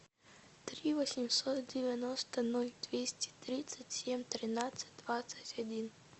три восемьсот девяносто ноль двести тридцать семь тринадцать двадцать один